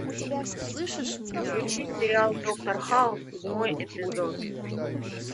включи сериал доктор хаус седьмой эпизод